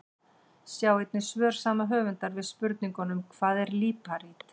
Sjá einnig svör sama höfundar við spurningunum: Hvað er líparít?